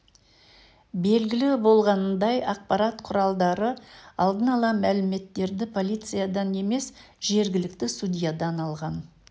белгілі болғанындай ақпарат құралдары алдын ала мәліметтерді полициядан емес жергілікті судьядан алған